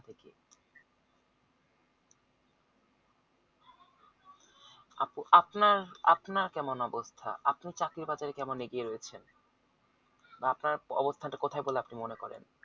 আপনা আপনার কেমন অবস্থা চাকরির বাজারে কেমন এগিয়ে রয়েছেন বা আপনার অবস্থান টা কোথাই বলে আপনি মনে করেন